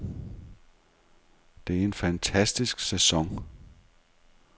Det er en fantastisk sæson.